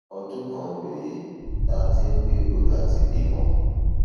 ọdún kan rèé tá a ti ń gbèrò láti bímọ